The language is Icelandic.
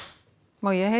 já ég